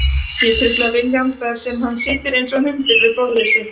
Ég trufla Vilhjálm þar sem hann situr einsog hundur við borðið sitt.